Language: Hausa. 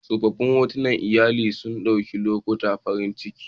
Tsoffin hotunan iyali sun ɗauki lokutan farin ciki